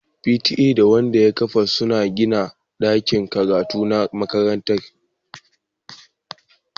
P.T.A da Wanda ya kafa suna gina dakin karatu na makarantar